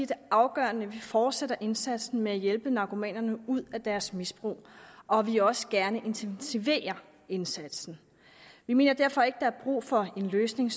det afgørende at vi fortsætter indsatsen med at hjælpe narkomanerne ud af deres misbrug og at vi også gerne intensiverer indsatsen vi mener derfor ikke at brug for den løsning